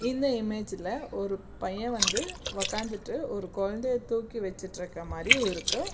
இந்த இமேஜ்ல ஒரு பையன் வந்து ஒக்காந்துட்டு ஒரு குழந்தைய தூக்கி வச்சுட்ருக்கர மாரியு இருக்கு.